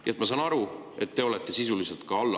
Nii et ma saan aru, et te olete ka sisuliselt alla andnud …